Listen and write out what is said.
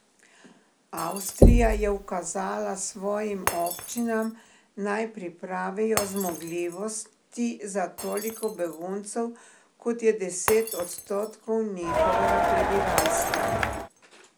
Avstrija je ukazala svojim občinam, naj pripravijo zmogljivosti za toliko beguncev, kot je deset odstotkov njihovega prebivalstva.